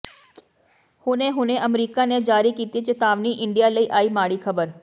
ਹੁਣੇ ਹੁਣੇ ਅਮਰੀਕਾ ਨੇ ਜਾਰੀ ਕੀਤੀ ਚੇਤਾਵਨੀ ਇੰਡੀਆ ਲਈ ਆਈ ਮਾੜੀ ਖਬਰ